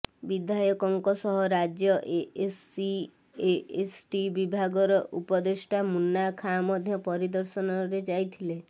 ବିଧାୟକଙ୍କ ସହ ରାଜ୍ୟ ଏସସି ଏସଟି ବିଭାଗରର ଉପଦେଷ୍ଟା ମୁନ୍ନା ଖାଁ ମଧ୍ୟ ପରିଦର୍ଶନରେ ଯାଇଥିଲେ